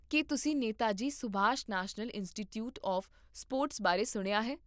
ਕੀ ਤੁਸੀਂ Netaji Subhas National Institute of Sports ਬਾਰੇ ਸੁਣਿਆ ਹੈ?